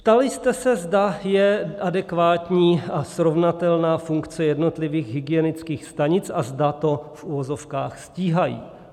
Ptali jste se, zda je adekvátní a srovnatelná funkce jednotlivých hygienických stanic a zda to v uvozovkách stíhají.